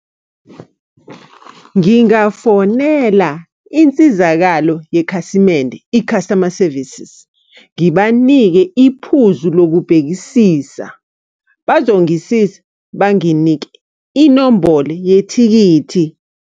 Ngingafonela insizakalo yekhasimende, i-customer services. Ngibanike iphuzu lokubhekisisa. Bazongisiza, banginike inombolo yethikithi.